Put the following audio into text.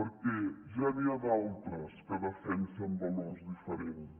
perquè ja n’hi ha d’altres que defensen valors diferents